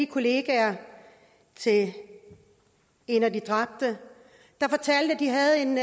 kollegerne til en af de dræbte der fortalte at de havde en